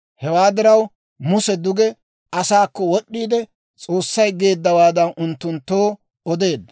Hewaa diraw, Muse duge asaakko wod'd'iide, S'oossay geeddawaa unttunttoo odeedda.